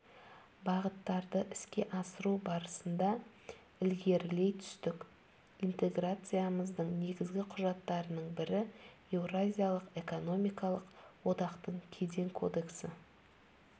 бағыттарды іске асыру барысында ілгерілей түстік интеграциямыздың негізгі құжаттарының бірі еуразиялық экономикалық одақтың кеден кодексі